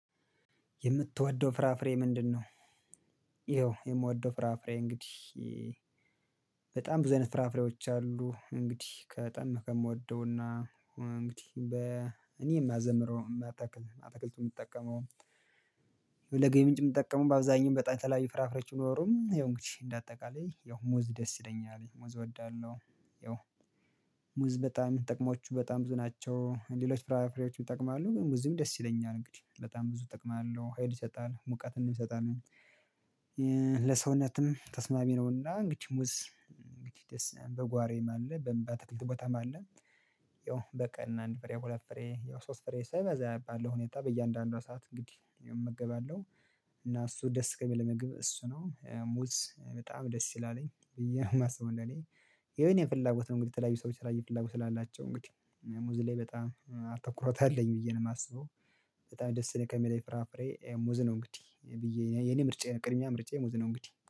የምትወደው ፍራፍሬ ምንድነው? ያው የምወደው ፍራፍሬ እንግዲህ በጣም ብዙ አይነት ፍራፍሬዎች አሉ እንግዲህ በጣም ከምወደውና እንግዲህ በ እኔ የማዘምረው የምተክል አትክልት የምጠቀመው ለገቢ ምንጭ የምጠቀመው በአብዛኛው በጣም የተለያዩ ፍራፍሬዎች ቢኖሩም ይሄው እንግዲህ እንደ አጠቃላይ ያው ሙዝ ደስ ይለኛል ሙዝ እወዳለሁ። ያው ሙዝ በጣም ጥቅሞቹ በጣም ብዙ ናቸው። ሌሎች ፍራፍሬዎች ይጠቅማሉ ግን ሙዝም ደስ ይለኛል እንግዲህ በጣም ብዙ እጠቅማለሁ ሀይል ይሰጣል ሙቀትም ይሰጣል። ለሰውነትም ተስማሚ ነውና እንግዲህ ሙዝ እንግዲህ ደስ በጓሮዬም አለ በአትክልት ቦታም አለ። ያው በቀን አንድ ፍሬ ሁለት ፍሬ ያው ሶስት ፍሬ ሳይበዛ ባለው ሁኔታ በእያንዳንዷ ሰዓት እንግዲህ እመገባለሁ። እና እሱ ደስ ከሚለኝ ምግብ እሱ ነው ሙዝ በጣም ደስ ይላልኝ ብዬ ነው የማስበው እኔ ያው የኔ ፍላጎት ነው። እንግዲህ የተለያዩ ሰዎች የተለያዩ ፍላጎት ስላላቸው እንግዲህ ሙዝ ላይ በጣም አተኩሮት አለኝ ብዬ ነው የማስበው። በጣም ደስ ከሚለኝ ፍራፍሬ ሙዝ ነው እንግዲህ ብዬ የኔ ምርጫ ቅድሚያ ምርጫዬ ሙዝ ነው። እንግዲህ